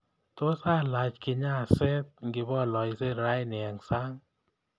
Tos alach kinyaset ngibooloshe raini eng sang